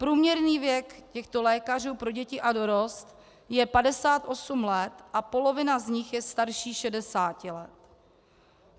Průměrný věk těchto lékařů pro děti a dorost je 58 let a polovina z nich je starší 60 let.